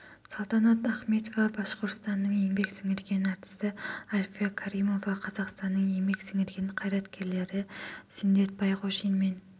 салтанат ахметова башқұртстанның еңбек сіңірген әртісі альфия каримова қазақстанның еңбек сіңірген қайраткерлері сүндет байғожин мен